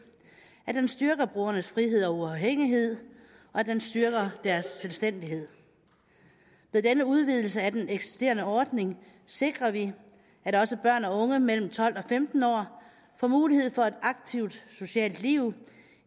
at den styrker brugernes frihed og uafhængighed og at den styrker deres selvstændighed ved denne udvidelse af den eksisterende ordning sikrer vi at også børn og unge mellem tolv og femten år får mulighed for et aktivt socialt liv